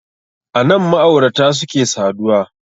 Anan ma'aurata suke saduwa